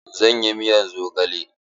Zan yi miyar zogale.